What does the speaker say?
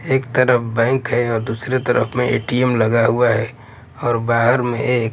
एक तरफ बैंक है और दूसरे तरफ में ए_टी_एम लगा हुआ है और बाहर में एक--